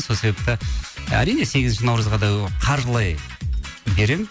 сол себепті әрине сегізінші наурызға да қаржылай беремін